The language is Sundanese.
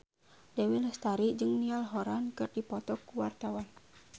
Dewi Lestari jeung Niall Horran keur dipoto ku wartawan